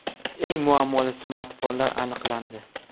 Eng muammoli smartfonlar aniqlandi.